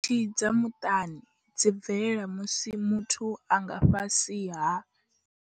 Khakhathi dza muṱani dzi bvelela musi muthu a nga fhasi ha.